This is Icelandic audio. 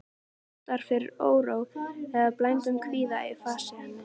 Það vottar fyrir óró eða bældum kvíða í fasi hennar.